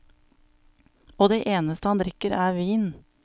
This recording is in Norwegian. Og det eneste han drikker er vin.